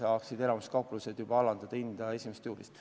Hanno Pevkur, palun!